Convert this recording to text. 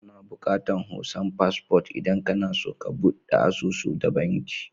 Ana bukatan hoton passport idan kana so ka budde asusu da banki.